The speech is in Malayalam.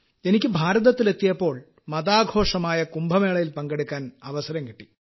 എനിക്ക് ഭാരതത്തിലെത്തിയപ്പോൾ മതാഘോഷമായ കുംഭമേളയിൽ പങ്കെടുക്കാൻ അവസരം കിട്ടി